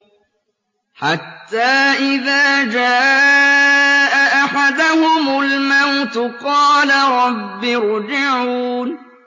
حَتَّىٰ إِذَا جَاءَ أَحَدَهُمُ الْمَوْتُ قَالَ رَبِّ ارْجِعُونِ